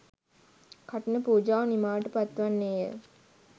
කඨින පූජාව නිමාවට පත්වන්නේ ය.